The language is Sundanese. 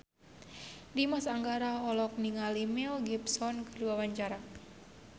Dimas Anggara olohok ningali Mel Gibson keur diwawancara